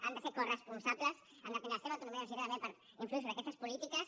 han de ser coresponsables han de tindre la seva autonomia universitària també per influir sobre aquestes polítiques